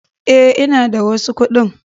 Eh, ina da wasu kuɗi